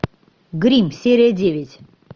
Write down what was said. гримм серия девять